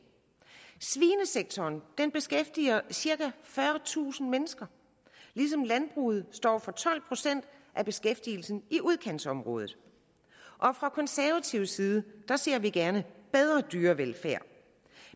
svinesektoren beskæftiger cirka fyrretusind mennesker ligesom landbruget står for tolv procent af beskæftigelsen i udkantsområderne fra konservativ side ser vi gerne bedre dyrevelfærd